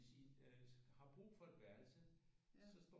Hvis I øh har brug for et værelse så står